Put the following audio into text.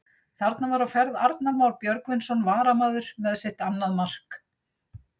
Þarna var á ferð Arnar Már Björgvinsson varamaður með sitt annað mark!